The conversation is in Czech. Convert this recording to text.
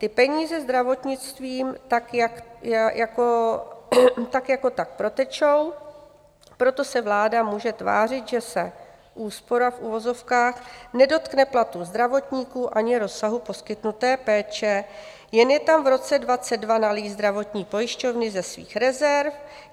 Ty peníze zdravotnictvím tak jako tak protečou, proto se vláda může tvářit, že se úspora v uvozovkách nedotkne platů zdravotníků ani rozsahu poskytnuté péče, jen je tam v roce 2022 nalijí zdravotní pojišťovny ze svých rezerv.